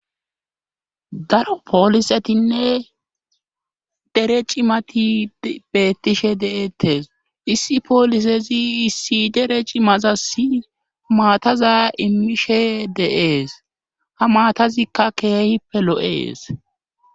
Daro poolisetinne dere cimati beettishe de7ettes issi poolisezi issi dere cimazasi maataza immishe deees ha maatazikka keehippe lo7ees